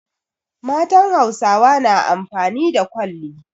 Matan Hausawa na amfani da kwalli.